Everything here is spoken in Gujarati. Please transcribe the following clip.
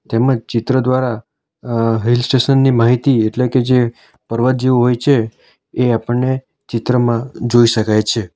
તેમજ ચિત્ર દ્વારા અહ હિલ સ્ટેશન ની માહિતી એટલે કે જે પર્વત જેવું હોય છે એ આપણને ચિત્રમાં જોઈ શકાય છે.